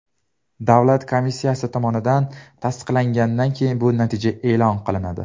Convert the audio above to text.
Davlat komissiyasi tomonidan tasdiqlangandan keyin bu natija e’lon qilinadi.